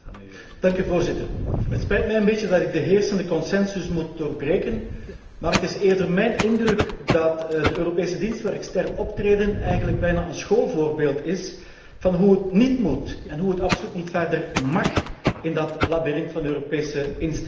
Voorzitter, het spijt mij een beetje dat ik de heersende consensus moet doorbreken, maar het is eerder mijn indruk dat de Europese dienst voor extern optreden eigenlijk bijna een schoolvoorbeeld is van hoe het níet moet en hoe het absoluut níet verder mág in dat labyrint van de Europese instellingen.